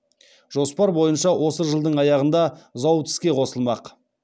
жоспар бойынша осы жылдың аяғында зауыт іске қосылмақ